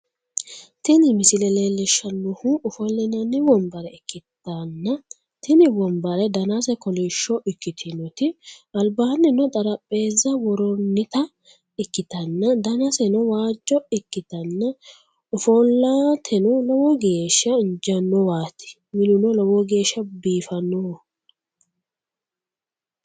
tini misile leellishshannohu ofollinanni wonbare ikkanna, tini wonbare danaseno kolishsho ikkitinoti, albaannino xarapheezza worroonnita ikkitanna, danaseno waajjo ikkitanna, ofollateno lowo geeshsha injaannowaati. minuno lowo geeshshano biifannoho.